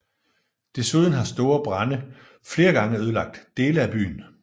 Desuden har store brande flere gange ødelagt dele af byen